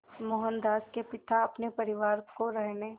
मोहनदास के पिता अपने परिवार को रहने